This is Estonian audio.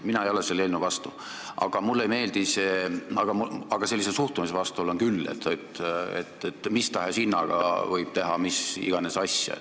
Mina ei ole selle eelnõu vastu, aga sellise suhtumise vastu olen küll, et mis tahes hinnaga võib teha mis iganes asja.